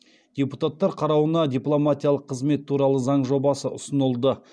депутаттар қарауына дипломатиялық қызмет туралы заң жобасы ұсынылды